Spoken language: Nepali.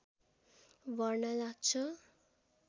बढ्न लाग्छ